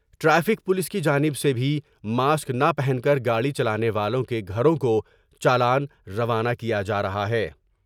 Traffic police کی جانب سے بھی ماسک نہ پہن کر گاڑی چلانے والوں کے گھروں کو چالان روانہ کیا جارہا ہے ۔